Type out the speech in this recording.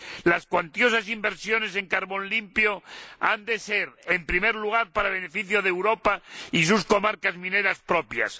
Las cuantiosas inversiones en carbón limpio han de ser, en primer lugar, para el beneficio de Europa y sus comarcas mineras propias.